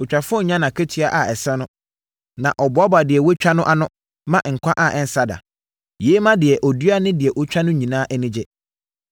Otwafoɔ nya nʼakatua a ɛsɛ no na ɔboaboa deɛ watwa no ano ma nkwa a ɛnsa da. Yei ma deɛ ɔdua ne deɛ ɔtwa no nyinaa ani gye.